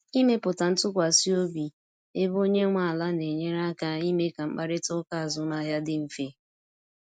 Ịmepụta ntụkwasị obi ebe onye nwe ala na enyere aka ime ka mkparịta ụka azụmahịa dị mfe